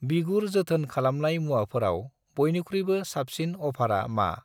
बिगुर जोथोन खालामनाय मुवाफोराव बयनिख्रुइबो साबसिन अफारा मा?